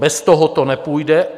Bez toho to nepůjde.